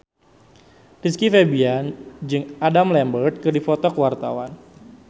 Rizky Febian jeung Adam Lambert keur dipoto ku wartawan